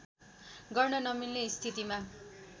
गर्न नमिल्ने स्थितिमा